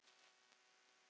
Hvenær kemur ný sería?